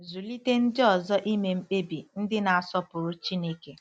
Zụlite Ndị Ọzọ Ime Mkpebi Ndị Na-asọpụrụ Chineke